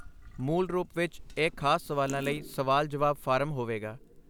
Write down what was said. ਮੂਲ ਰੂਪ ਵਿੱਚ ਇਹ ਖ਼ਾਸ ਸਵਾਲਾਂ ਲਈ ਸਵਾਲ ਜਵਾਬ ਫਾਰਮ ਹੋਵੇਗਾ